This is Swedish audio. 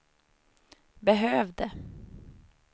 behövde